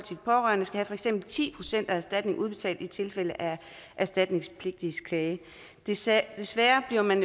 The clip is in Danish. pårørende skal have for eksempel ti procent af erstatningen udbetalt i tilfælde af erstatningspligtiges klage desværre desværre bliver man